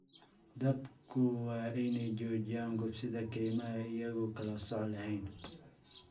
Dadku waa inay joojiyaan gubista kaymaha iyagoon kala sooc lahayn.